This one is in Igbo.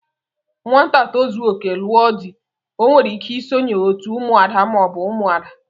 Nwanyi tozuoke, lụọ di o nwere ike isonye otú ụmụ ada ma ọbu ụmụada.